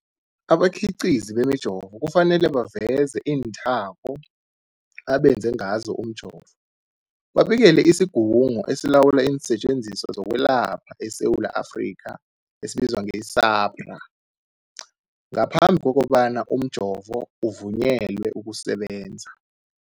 Abakhiqizi bemijovo kufanele baveze iinthako abenze ngazo umjovo, babikele isiGungu esiLawula iinSetjenziswa zokweLapha eSewula Afrika, i-SAHPRA, ngaphambi kobana umjovo uvunyelwe ukusebenza.